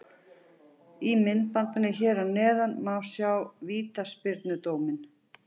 Í myndbandinu hér að neðan má sjá vítaspyrnudóminn.